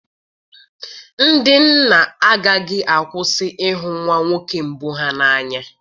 Ndị nna agaghị akwụsị ịhụ nwa nwoke mbụ ha n'anya